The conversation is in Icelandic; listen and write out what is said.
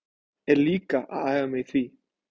Er líka að æfa mig í því.